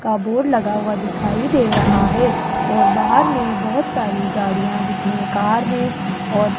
का बोर्ड लगा हुआ दिखाई दे रहा है और बाहर में बहोत सारी गाड़ियां जिसमें कार है और --